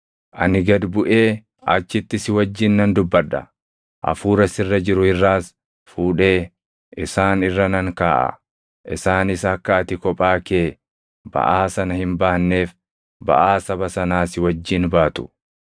Ani gad buʼee achitti si wajjin nan dubbadha; Hafuura sirra jiru irraas fuudhee isaan irra nan kaaʼa; isaanis akka ati kophaa kee baʼaa sana hin baanneef baʼaa saba sanaa si wajjin baatu.